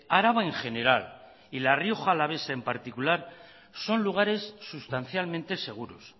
araba en general y la rioja alavesa en particular son lugares sustancialmente seguros